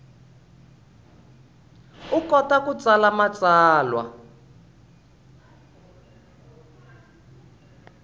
u kota ku tsala matsalwa